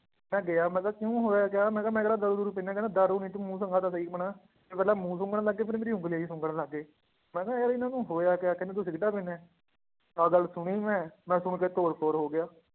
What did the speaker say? ਮੈਂ ਗਿਆ ਮੈਂ ਕਿਹਾ ਕਿਉਂ ਹੋਇਆ ਕਿਆ ਮੈਂ ਕਿਹਾ ਮੈਂ ਕਿਹੜਾ ਦਾਰੂ ਦੂਰੂ ਪੀਂਦਾ ਹੈ, ਕਹਿੰਦੇ ਦਾਰੂ ਨੀ ਤੂੰ ਮੂੰਹ ਦਿਖਾ ਤਾਂ ਸਹੀ ਆਪਣਾ, ਪਹਿਲਾਂ ਮੂੰਹ ਸੁੰਘਣ ਲੱਗੇ ਫਿਰ ਮੇਰੀ ਉਂਗਲੀਆਂ ਹੀ ਸੁੰਘਣ ਲੱਗ ਗਏ, ਮੈਂ ਕਿਹਾ ਯਾਰ ਇਹਨਾਂ ਨੂੰ ਹੋਇਆ ਕਿਆ ਕਹਿੰਦੇ ਤੂੰ ਸਿਗਰਟਾਂ ਪੀਂਦਾ ਹੈ, ਆਹ ਗੱਲ ਸੁਣੀ ਮੈਂ ਮੈਂ ਸੁਣ ਕੇ ਤੋਰ ਫੋਰ ਹੋ ਗਿਆ